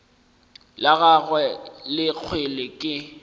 la gagwe la kgwele ke